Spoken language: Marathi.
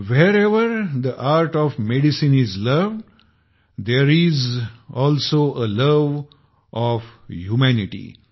wherever the art of medicine is loved there is also a love of humanity